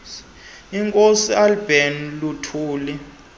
unkosi albert luthuli